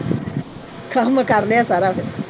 ਕੰਮ ਕਰ ਲਿਆ ਸਾਰਾ ਫਿਰ।